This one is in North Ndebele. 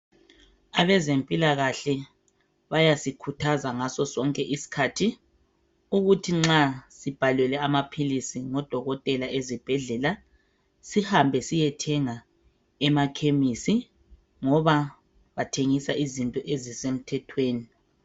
Abezempilakahle bayasikhuthaza nga sosonke isikhathi ukuthi nxa sibhalelwe amaphilisi ngodokotela ezibhedlela sihambe siyethenga e makhemisi ngoba bathengisa izinto ezise mthwetheni.